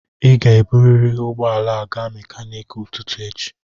Ị ga-eburịrị ụgbọ ala a gaa mekaniki ụtụtụ echi.